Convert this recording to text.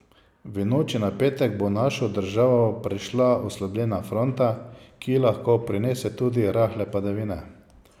V noči na petek bo našo državo prešla oslabljena fronta, ki lahko prinese tudi rahle padavine.